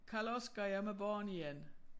Karl-Oscar jag er med barn igen